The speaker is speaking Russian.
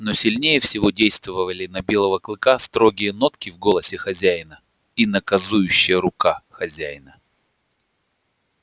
но сильнее всего действовали на белого клыка строгие нотки в голосе хозяина и наказующая рука хозяина